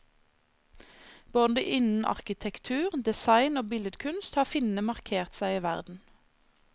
Både innen arkitektur, design og billedkunst har finnene markert seg i verden.